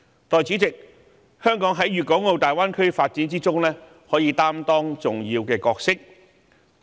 代理主席，香港在粵港澳大灣區發展中可以擔當重要角色。